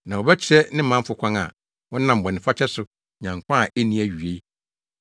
na wobɛkyerɛ ne manfo kwan a wɔnam bɔnefakyɛ so nya nkwa a enni awiei;